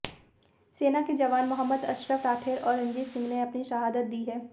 सेना के जवान मोहम्मद असरफ राठेर और रणजीत सिंह ने अपनी शहादत दी है